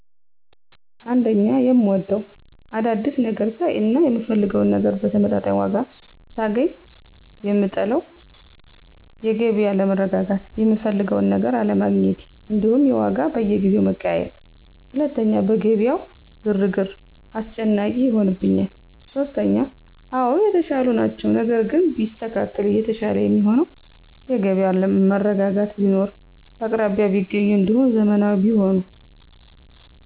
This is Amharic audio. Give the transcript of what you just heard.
1, የምወደው፦ አዳዲስ ነገር ሳይ እና የምፈልገውን ነገር በተመጣጣኝ ዋጋ ሳገኝ, የምጠለው:-የገቢያ አለመረጋጋት፣ የምፈልገውን ነገር አለሜግኘቴ እንዲሁም የዋጋ በየጊዜው መቀያየር። 2, በገቢያው ግርግር፦ አስጨናቂ ይሆንብኛል። 3, አወ የተሻሉ ናቸው ነገር ግን ቢስተካከል የተሻለ የሚሆነው፦ የገበያ መረጋጋት ቢኖር፣ በአቅራቢያ ቢገኙ እንዲሁም ዘመናዊ ቢሆኑ።